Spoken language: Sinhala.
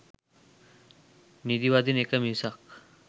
නිදිවදින එක මිසක්